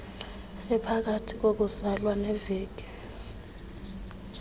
ephakathi kokuzalwa neeveki